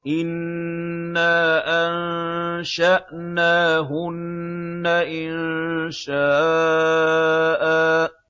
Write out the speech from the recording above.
إِنَّا أَنشَأْنَاهُنَّ إِنشَاءً